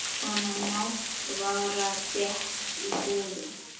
Svona matvara fékkst í búðum.